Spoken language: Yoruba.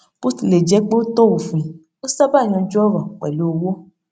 bó tilẹ jẹ pé ó tọ òfin ó sábà yanjú ọrọ pẹlú owó